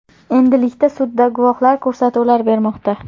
Endilikda sudda guvohlar ko‘rsatuvlar bermoqda.